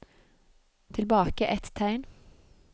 Tilbake ett tegn